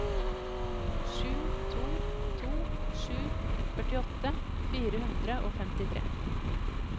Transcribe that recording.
sju to to sju førtiåtte fire hundre og femtifire